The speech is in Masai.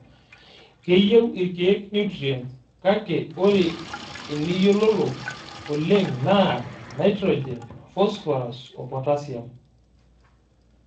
Keyieu irkiek nutrient, kake ore eniyiololo oleng' naa Nitrigen, fosphorus oo potashium.